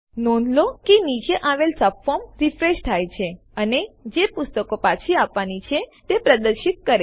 નોંધ લો કે નીચે આવેલ સબફોર્મ રીફ્રેશ થાય છે અને જે પુસ્તકો પાછી આપવાની છે તે પ્રદર્શિત કરે છે